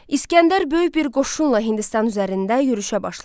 İsgəndər böyük bir qoşunla Hindistan üzərində yürüşə başladı.